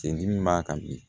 Sen dimi b'a kan bi